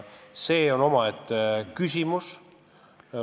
See on omaette küsimus.